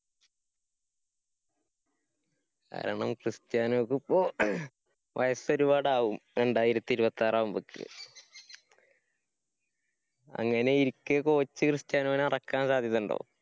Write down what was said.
കാരണം ക്രിസ്റ്റ്യാനോക്കിപ്പൊ വയസ്സൊരുപാടാകും രണ്ടായിരത്തി ഇരുപത്താറാവുമ്പക്ക്. അങ്ങനെയിരിക്കെ coach ക്രിസ്റ്റ്യാനോനെ എറക്കാന്‍ സാധ്യതയുണ്ടോ?